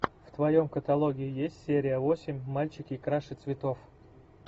в твоем каталоге есть серия восемь мальчики краше цветов